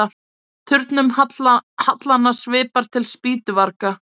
Turnum hallanna svipar til spýtuvarga.